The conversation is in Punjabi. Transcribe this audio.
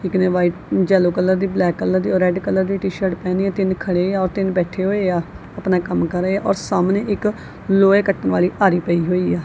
ਇੱਕ ਨੇਂ ਵ੍ਹਾਈਟ ਜੈਲੋ ਕਲਰ ਦੀ ਬਲੈਕ ਕਲਰ ਦੀ ਔਰ ਰੈੱਡ ਕਲਰ ਦੀ ਟੀ_ਸ਼ਰਟ ਪਹਿਨਿਆ ਤਿੰਨ ਖੜੇ ਆ ਔਰ ਤਿੰਨ ਬੈਠੇ ਹੋਏਆ ਅਪਨਾ ਕੰਮ ਕਰ ਰਹੇ ਔਰ ਸਾਹਮਣੇ ਇੱਕ ਲੋਹੇ ਕੱਟਣ ਵਾਲੀ ਆਰੀ ਪਈ ਹੋਈ ਹੈ।